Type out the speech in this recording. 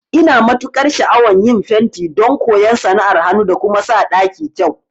Ina matukar sha'awan yin fenti don koyan sana'ar hanu da kuma sa ɗaki kyau